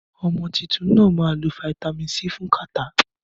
Ọmọ títún nà má lo fàtámi-si fún kàtá